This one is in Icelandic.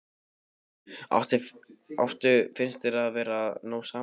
Lillý: Áttu, finnst þér þið vera að ná saman, eða?